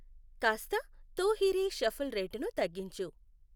కాస్త 'తూ హి రే' షఫుల్ రేటును తగ్గించు